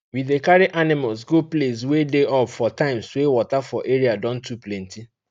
we dey carry animals go place wey dey up for times wey water for area don too plenty